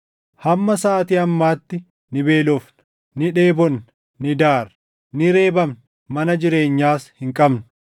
Hamma saʼaatii ammaatti ni beelofna; ni dheebonna; ni daarra; ni reebamna; mana jireenyaas hin qabnu.